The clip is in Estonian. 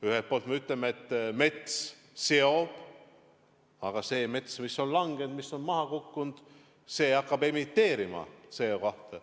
Ühelt poolt me ütleme, et mets seob CO2, aga see mets, mis on langenud, maha kukkunud, see hakkab CO2 emiteerima.